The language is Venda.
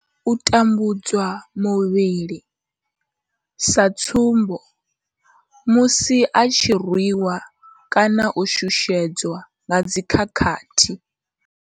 U tambudzwa muvhili sa tsumbo, musi vha tshi rwi wa kana u shushedzwa nga dzi khakhathi.